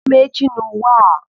Onye ma echi n'ụwa a?